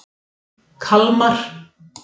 Kalmar